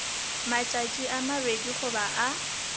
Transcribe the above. matšatši a mabedi goba a